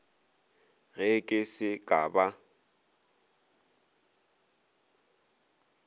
ge ke se ka ba